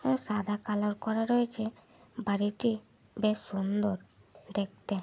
এই সাদা কালার করা রয়েছে বাড়িটি বেশ সুন্দর দেখতে।